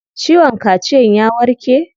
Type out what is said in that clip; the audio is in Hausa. Ciwon kaciyan ya warke?